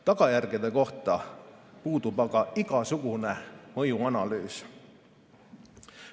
Tagajärgede kohta puudub aga igasugune mõjuanalüüs.